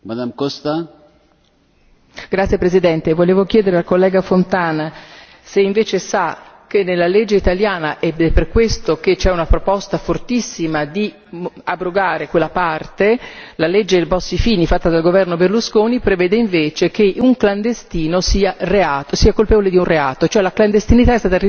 Signor Presidente, onorevoli colleghi, volevo chiedere al collega Fontana se invece sa che nella legge italiana ed è per questo che c'è una proposta fortissima di abrogare quella parte la legge Bossi Fini fatta dal governo Berlusconi prevede che un clandestino sia colpevole di un reato, cioè la clandestinità